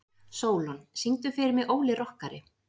Sólon, syngdu fyrir mig „Óli rokkari“.